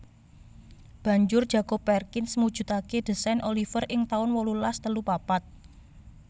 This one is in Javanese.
Banjur Jacob Perkins mujudake désain Oliver ing taun wolulas telu papat